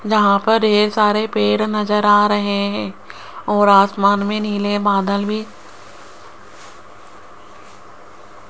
जहां पर ढेर सारे पेड़ नजर आ रहे हैं और आसमान में नीले बादल भी --